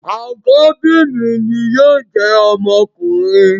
Àkọ́bí mi ni yóò jẹ́ ọmọkùnrin